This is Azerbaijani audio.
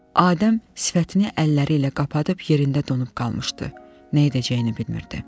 Adəm sifətini əlləri ilə qapadıb yerində donub qalmışdı, nə edəcəyini bilmirdi.